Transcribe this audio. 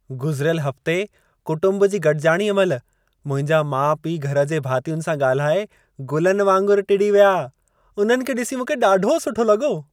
गुज़िरियल हफ़्ते कुटुंब जी गॾिजाणीअ महिल, मुंहिंजा माउ-पीउ घर जे भातियुनि सां ॻाल्हाए गुलनि वांगुरु टिड़ी विया। उन्हनि खे ॾिसी मूंखे ॾाढो सुठो लॻो।